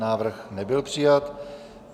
Návrh nebyl přijat.